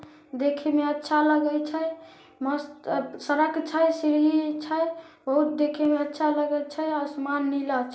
देखे मे अच्छा लगे छै मस्त सड़क छै सीढ़ी छै बहुत देखे में अच्छा लगे छै आसमान नीला छै।